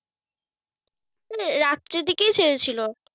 ওই রাত্রের দিকেই ছেড়েছিল।